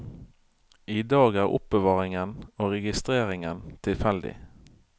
I dag er er oppbevaringen og registreringen tilfeldig.